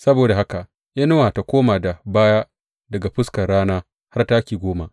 Saboda haka inuwar ta koma da baya daga fuskar rana har taki goma.